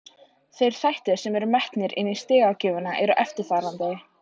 Þeir þættir sem eru metnir inni í stigagjöfina eru eftirfarandi: